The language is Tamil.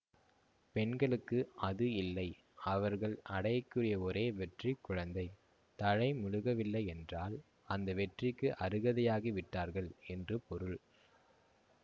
பெண்களுக்கு அது இல்லை அவர்கள் அடைய கூடிய ஒரே வெற்றி குழந்தை தலை முழுகவில்லை என்றால் அந்த வெற்றிக்கு அருகதையாகிவிட்டார்கள் என்று பொருள்